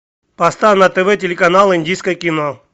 поставь на тв телеканал индийское кино